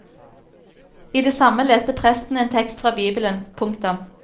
I det samme leste presten en tekst fra bibelen. punktum